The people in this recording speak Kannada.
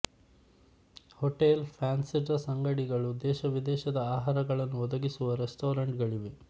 ಹೋಟೆಲ್ ಫ್ಯಾನ್ಸಿ ಡ್ರೆಸ್ ಅಂಗಡಿಗಳು ದೇಶವಿದೇಶದ ಆಹಾರಗಳನ್ನು ಒದಗಿಸುವ ರೆಸ್ಟಾರೆಂಟ್ ಗಳಿವೆ